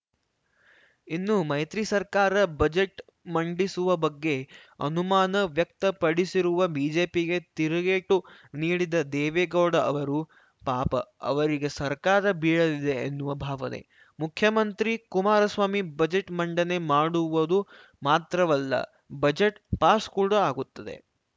ಇನ್ನು ಮೈತ್ರಿ ಸರ್ಕಾರ ಬಜೆಟ್‌ ಮಂಡಿಸುವ ಬಗ್ಗೆ ಅನುಮಾನ ವ್ಯಕ್ತಪಡಿಸಿರುವ ಬಿಜೆಪಿಗೆ ತಿರುಗೇಟು ನೀಡಿದ ದೇವೇಗೌಡ ಅವರು ಪಾಪ ಅವರಿಗೆ ಸರ್ಕಾರ ಬೀಳಲಿದೆ ಎನ್ನುವ ಭಾವನೆ ಮುಖ್ಯಮಂತ್ರಿ ಕುಮಾರಸ್ವಾಮಿ ಬಜೆಟ್‌ ಮಂಡನೆ ಮಾಡುವುದು ಮಾತ್ರವಲ್ಲ ಬಜೆಟ್‌ ಪಾಸ್‌ ಕೂಡ ಆಗುತ್ತದೆ